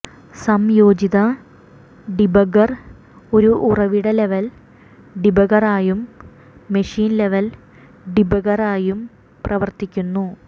സംയോജിത ഡീബഗ്ഗർ ഒരു ഉറവിട ലെവൽ ഡീബഗ്ഗറായും മെഷീൻ ലെവൽ ഡീബഗ്ഗറായും പ്രവർത്തിക്കുന്നു